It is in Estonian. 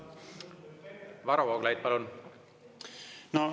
Varro Vooglaid, palun!